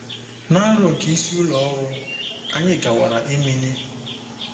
Na aro nke isi ụlọ ọrụ, anyị gawara Emene